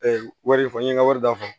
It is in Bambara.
wari fɔ n ye n ka wari dafa